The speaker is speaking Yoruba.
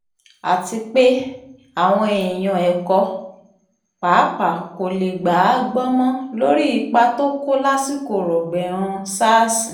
àti pé àwọn èèyàn ẹ̀kọ́ pàápàá kò lè gbà á gbọ́ mọ́ lórí ipa tó kó lásìkò rọ́gbẹ̀ẹ̀hàn sars